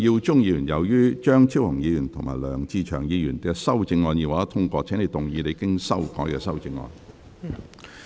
梁耀忠議員，由於張超雄議員及梁志祥議員的修正案已獲得通過，請動議你經修改的修正案。